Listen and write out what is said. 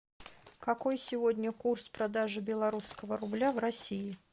какой сегодня курс продажи белорусского рубля в россии